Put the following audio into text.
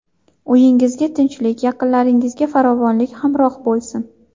Uyingizga tinchlik, yaqinlaringizga farovonlik hamroh bo‘lsin!